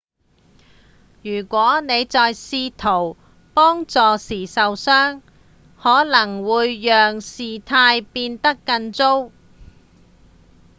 如果你在試圖幫助時受傷可能只會讓事態變得更糟